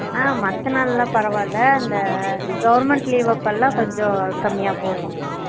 அஹ் மத்த நாள்ல பரவால்ல அந்த government leave அப்போல கொஞ்ச கம்மியா போகும்